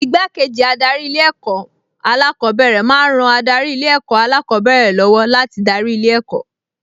Igbákejì adarí Ilé-ẹ̀kọ́ alákọ̀ọ́bẹ̀rẹ̀ máa ń ran adarí Ilé-ẹ̀kọ́ alákọ̀ọ́bẹ̀rẹ̀ lọ́wọ́ láti darí ilé ẹ̀kọ́